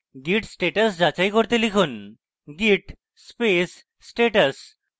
git status যাচাই করতে লিখুন git space status